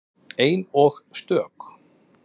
Ein og stök.